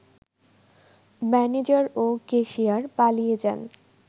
manager ও cashier পালিয়ে যান